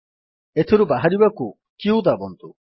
ଏଥିରୁ ବାହାରିବାକୁ q ଦାବନ୍ତୁ